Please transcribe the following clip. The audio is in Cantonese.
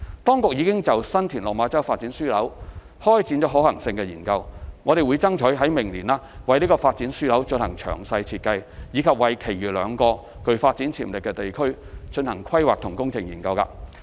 當局已就新田/落馬洲發展樞紐開展可行性研究，並爭取明年為這個發展樞紐進行詳細設計，以及為其餘兩個具發展潛力地區進行規劃及工程研究。